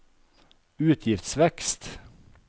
utgiftsvekst